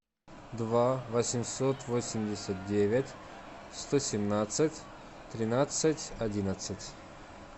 два восемьсот восемьдесят девять сто семнадцать тринадцать одиннадцать